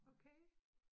Okay